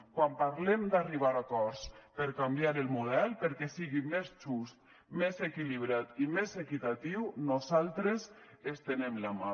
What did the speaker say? quan parlem d’arribar a acords per canviar el model perquè sigui més just més equilibrat i més equitatiu nosaltres estenem la mà